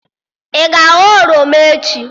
Ị ga-aghọ oroma echi?